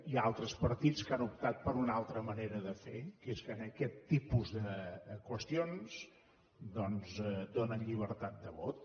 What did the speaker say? hi ha altres partits que han optat per una altra manera de fer que és que en aquest tipus de qüestions doncs donen llibertat de vot